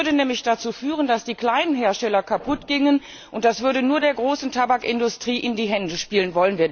Das würde nämlich dazu führen, dass die kleinen Hersteller kaputtgingen, und das würde nur der großen Tabakindustrie in die Hände spielen.